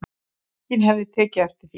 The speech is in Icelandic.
Enginn hefði tekið eftir því